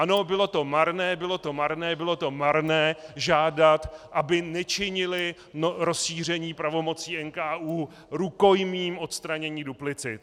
Ano, bylo to marné, bylo to marné, bylo to marné žádat, aby nečinili rozšíření pravomocí NKÚ rukojmím odstranění duplicit.